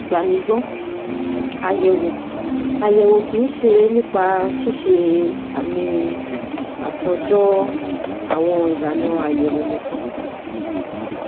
Gbà mí gbọ́, àyẹ̀wò àyẹ̀wò kì í ṣe nípa ṣíṣe àmì àtòjọ àwọn ìlànà àyẹ̀wò nìkan